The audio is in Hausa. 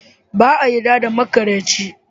Ba a yarda da maƙaryaci.